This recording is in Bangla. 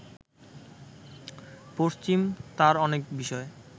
পশ্চিম তার অনেক বিষয়